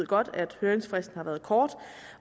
godt ved at høringsfristen har været kort